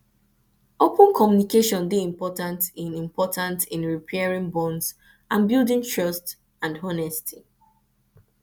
open communication dey important in important in repairing bonds and buildng trust and honesty